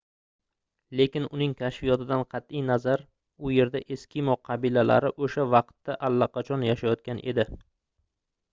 lekin uning kashfiyotidan qatʼi nazar u yerda eskimo qabilalari oʻsha vaqtda allaqachon yashayotgan edi